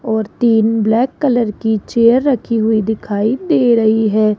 और तीन black colour की चेयर रखी हुई दिखाई दे रही है।